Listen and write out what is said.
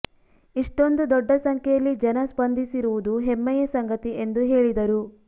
ಇಷ್ಟೊಂದು ದೊಡ್ಡ ಸಂಖ್ಯೆಯಲ್ಲಿ ಜನ ಸ್ಪಂಧಿಸಿರುವುದು ಹೆಮ್ಮೆಯ ಸಂಗತಿ ಎಂದು ಹೇಳಿದರು